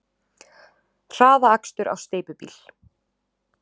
Hraðakstur á steypubíl